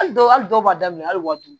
Hali dɔw hali dɔw b'a daminɛ hali